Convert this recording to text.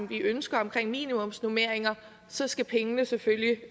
vi ønsker om minimumsnormeringer så skal pengene selvfølgelig